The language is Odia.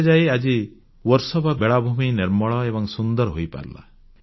ତେବେ ଯାଇ ଆଜି ବର୍ସୋବା ବେଳାଭୂମି ନିର୍ମଳ ଏବଂ ସୁନ୍ଦର ହୋଇପାରିଲା